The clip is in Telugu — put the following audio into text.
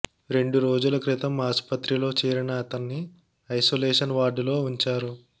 రెండు రోజుల క్రితం ఆస్పత్రిలో చేరిన అతన్ని ఐసోలేషన్ వార్డులో ఉంచారు